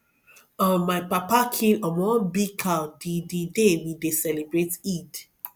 um my papa kill um one big cow the the day we dey celebrate eid